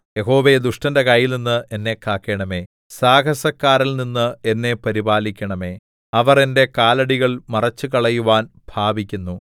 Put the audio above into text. യഹോവേ ദുഷ്ടന്റെ കൈയിൽനിന്ന് എന്നെ കാക്കണമേ സാഹസക്കാരനിൽനിന്ന് എന്നെ പരിപാലിക്കണമേ അവർ എന്റെ കാലടികൾ മറിച്ചുകളയുവാൻ ഭാവിക്കുന്നു